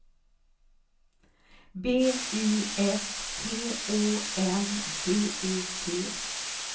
B I S T Å N D E T